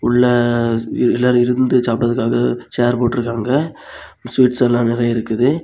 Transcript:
உள்ள எல்லாரு இருந்து சாப்பிடறதுக்காக சேர் போட்ருக்காங்க ஸ்வீட்ஸ் எல்லா நிறைய இருக்குது.